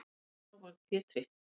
Þá varð Pétri